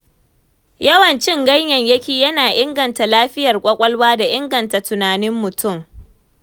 Yawan cin ganyayyaki yana inganta lafiyar ƙwaƙwalwa. da ingata tunanin mutum.